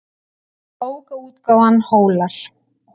Bókaútgáfan Hólar.